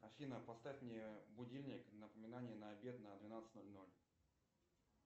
афина поставь мне будильник напоминание на обед на двенадцать ноль ноль